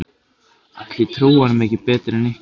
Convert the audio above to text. Ætli ég trúi honum ekki betur en ykkur.